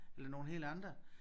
Eller nogle helt andre